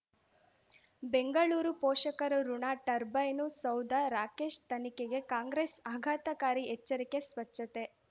ಬೆಂಗಳೂರು ಪೋಷಕರಋಣ ಟರ್ಬೈನು ಸೌಧ ರಾಕೇಶ್ ತನಿಖೆಗೆ ಕಾಂಗ್ರೆಸ್ ಆಘಾತಕಾರಿ ಎಚ್ಚರಿಕೆ ಸ್ವಚ್ಛತೆ